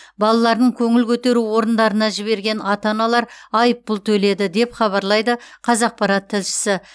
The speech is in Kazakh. балаларын көңіл көтеру орындарына жіберген ата аналар айыппұл төледі деп хабарлайды қазақпарат тілшісі